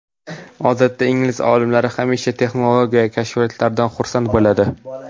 Odatda ingliz olimlari hamisha texnologiya kashfiyotlaridan xursand bo‘ladi.